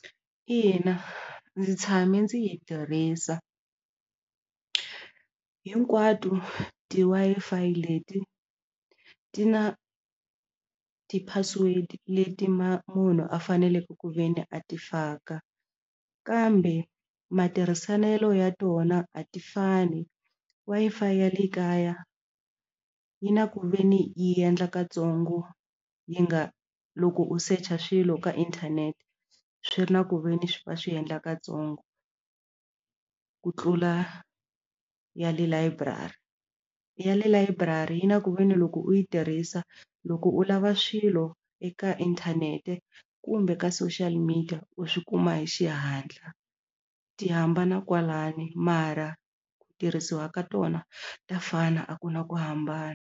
Ina ndzi tshame ndzi yi tirhisa hinkwato ti-Wi-Fi leti ti na ti-password leti munhu a faneleke ku ve ni a ti faka kambe matirhiselo ya tona a ti fani Wi-Fi ya le kaya yi na ku ve ni yi endla katsongo yi nga loko u secha swilo ka inthanete swi ri na ku ve ni va swi endla katsongo ku tlula ya le layiburari ya le layiburari yi na ku veni loko u yi tirhisa loko u lava swilo eka inthanete kumbe ka social media u swi kuma hi xihatla ti hambana kwalano mara ku tirhisiwa ka tona ta fana a ku na ku hambana.